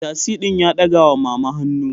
Mai tasi din ya dagawa mama hannu